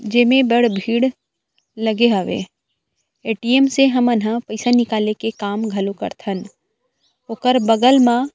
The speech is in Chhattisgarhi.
जेमें बड़ भीड़ लगे हवे ए.टी.एम. से हमन ह पैसा निकाले के काम घलो कर थन ओकर बगल म--